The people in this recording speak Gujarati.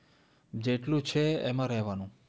જેટલું છે એમાં રહેવાનું